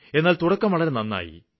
എന്നാല് തുടക്കം വളരെ നന്നായി